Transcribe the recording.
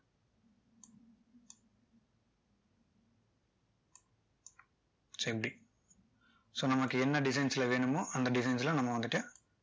so இப்படி so நமக்கு என்ன designs ல வேணுமோ அந்த designs ல நம்ம வந்துட்டு